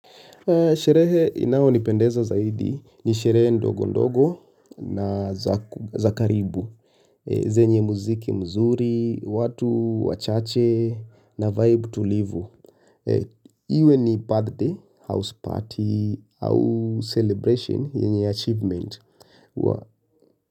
Sherehe inao nipendeza zaidi, ni sherehe ndogo ndogo na zakaribu, zenye muziki mzuri, watu, wachache, na vibe tulivu. Iwe ni birthday, house party, au celebration, yenye achievement.